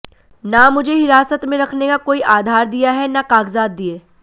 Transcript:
न मुझे हिरासत में रखने का कोई आधार दिया है न कागज़ात दिए